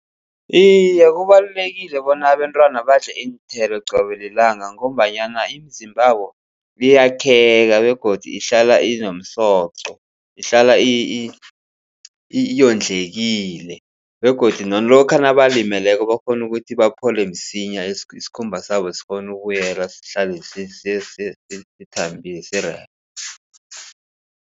Iye, kubalulekile bona abentwana badle iinthelo qobe lilanga. Ngombanyana imizimbabo iyakheka begodu ihlala inomsoqo, ihlala iyondlekile begodu lokha nabalimeleko bakghone ukuthi baphole msinya. Isikhumba sabo sikghone ukubuyela sihlale sithambile rerhe.